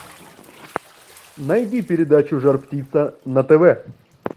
найди передачу жар птица на тв